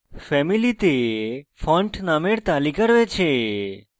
family font names তালিকা রয়েছে